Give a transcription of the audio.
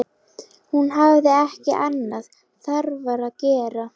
Hún hafði ekki annað þarfara að gera.